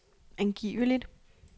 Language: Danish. angiveligt